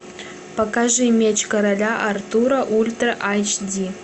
покажи меч короля артура ультра айч ди